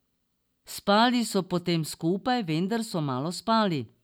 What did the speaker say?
Spali so potem skupaj, vendar so malo spali.